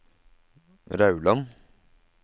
Rauland